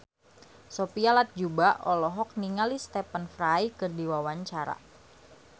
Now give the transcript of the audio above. Sophia Latjuba olohok ningali Stephen Fry keur diwawancara